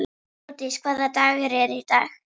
Glódís, hvaða dagur er í dag?